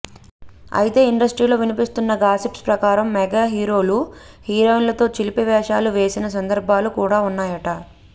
అయితే ఇండస్ట్రీలో వినిపిస్తున్న గాసిప్స్ ప్రకారం మెగాహీరోలు హీరోయిన్లతో చిలిపి వేషాలు వేసిన సందర్భాలు కూడ ఉన్నాయట